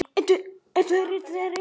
Það skiptir okkur miklu máli.